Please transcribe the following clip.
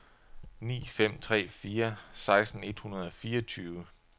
ni fem tre fire seksten et hundrede og fireogtyve